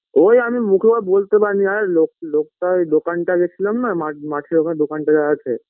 ওই আমি মুখের ওপর বোলতে পারিনা লোক লোকটা ওই দোকানটা ওই গেছিলাম না মাঠ মাঠের ওখানটা দোকানটা যে আছে